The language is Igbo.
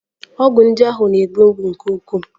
Ọgwụ ndị ahụ na-egbu mgbu nke ukwuu.